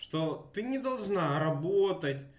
что ты не должна работать